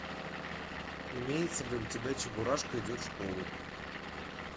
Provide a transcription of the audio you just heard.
имеется ли у тебя чебурашка идет в школу